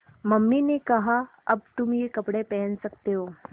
mummy ने कहा अब तुम ये कपड़े पहन सकते हो